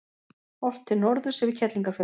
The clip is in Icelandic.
Horft til norðurs yfir Kerlingarfjöll.